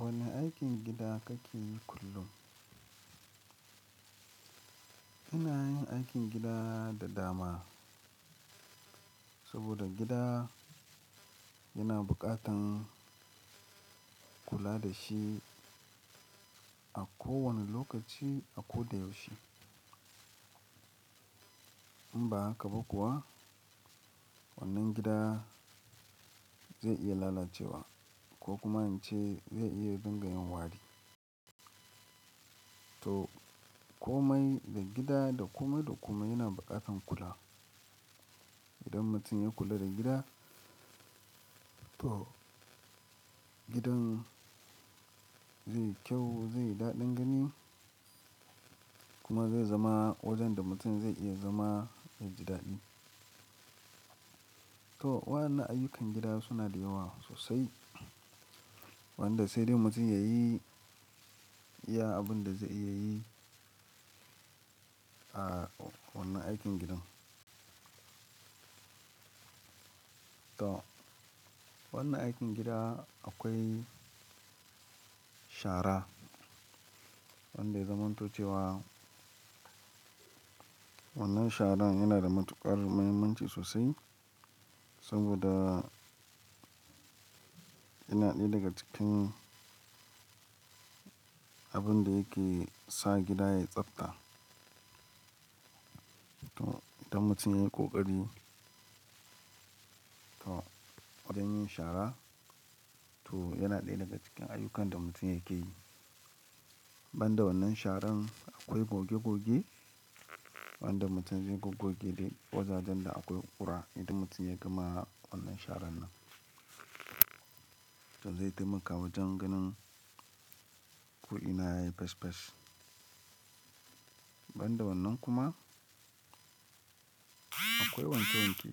Wane aikin gida kake yi kullum? Ina yin aikin gida da dama, saboda gida yana buƙatar kula da shi a kowane lokaci, a ko da yaushe. In ba haka ba kuwa wannan gida zai iya lalacewa ko kuma in ce zai iya dinga yin wari. To komai da gida, da kome da kome yana buƙatar kula. Idan mutum ya kula da gida, to gidan zai yi kyau, zai yi daɗin gani kuma zai zama wajen da mutum zai iya zama da jidaɗi. To waɗannan ayyukan gida suna da yawa sosai, wanda sai dai mutum ya yi iya abin da zai iya yi a wannan aikin gidan. To wannan aikin gida akwai shara wanda ya zamantuce wa wannan sharan yana da matuƙar muhimmanci sosai saboda yana ɗaya daga cikin abin da yake sa gida yayi tsafta. To idan mutum ya yi ƙoƙari to wajen yin shara to yana ɗaya daga cikin ayyukan da mutum yake yi. Banda wannan sharan akwai goge goge wanda mutum zai goge duk wajajen da akwai ƙura idan mutum ya gama wannan sharan nan. To zai taimaka wajen ganin ku'ina yayi fes fes. Banda wannan kuma akwai wanke wanke.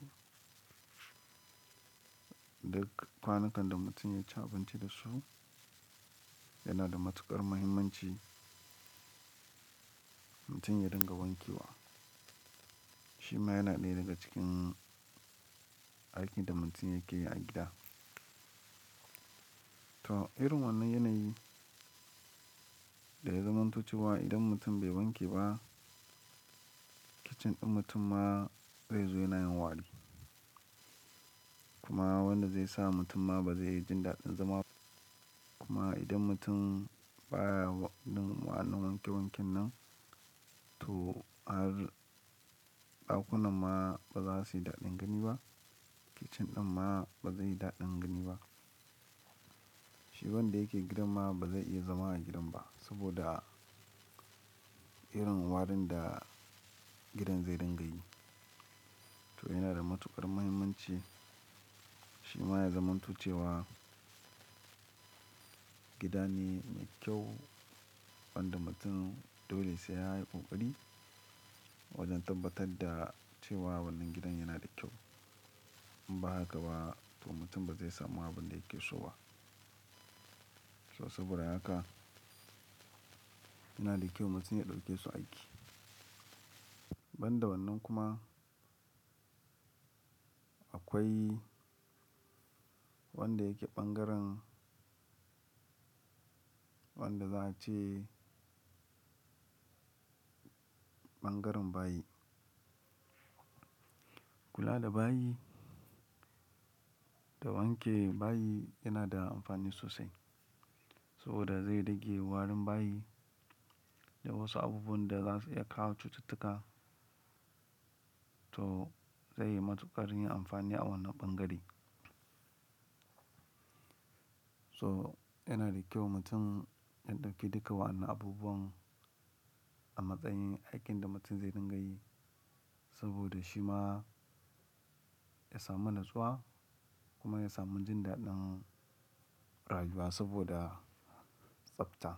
Duk kwanukan da mutum ya ci abinci da su yana da matuƙar muhimmanci mutum ya dinga wanke wa. Shi ma yana ɗaya daga cikin aikin da mutum yake yi a gida. To irin wannan yanayi da ya zamantuce wa idan mutum bai wanke ba, kicin ɗin mutumma zai zo yana yin wari. Kuma wannan zai sa mutumma ba zai yi jin daɗin zama kuma idan mutum baya yin waɗannan wanke wanken nan to har ɗakunan ma ba za su yi daɗin gani ba, kicin ɗin ma ba zai yi daɗin gani ba. Shi wanda yake gidan ma ba zai iya zama a gidan ba saboda irin warin da gidan zai dinga yi. To yana da matuƙar muhimmanci shi ma ya zamantuce wa gida ne mai kyau wanda mutum dole sai ya yi ƙoƙari wajen tabbatar da cewa wannan gidan yana da kyau. In ba haka ba to mutum ba zai samu abin da yake so ba. To saboda haka yana da kyau mutum ya ɗauke su aiki. Banda wannan kuma akwai wanda yake ɓangaren wanda za a ce ɓangaren bayi. Kula da bayi, da wanke bayi yana da amfani sosai saboda zai rage warin bayi da wasu abubuwan da za su iya kawo cututtuka. To zai yi matuƙar yin amfani a wannan ɓangare. So yana da kyau mutum ya ɗauki duka wannan abubuwan a matsayin aikin da mutum zai dinga yi saboda shi ma ya samu natsuwa kuma ya samu jin daɗin rayuwa saboda tsafta.